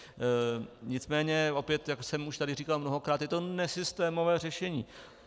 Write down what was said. Nicméně opět, jak jsem už tady říkal mnohokrát, je to nesystémové řešení.